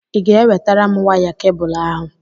Ị ga-ewetara m waya kebụl ahụ?